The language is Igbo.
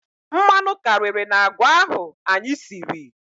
Mmanụ karịrị n'agwa ahụ anyị siri.